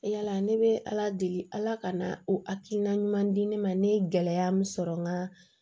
Yala ne bɛ ala deli ala ka na o hakilina ɲuman di ne ma ne ye gɛlɛya min sɔrɔ n ka